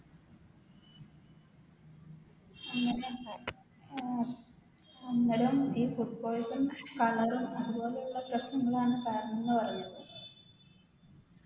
അന്നേരം ഈ Food poison color ഉം അതുപോലെയുള്ള പ്രശ്നങ്ങളാണ് കാരണംന്ന് പറഞ്ഞു